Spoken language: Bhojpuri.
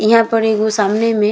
इहाँ पर एगो सामने में --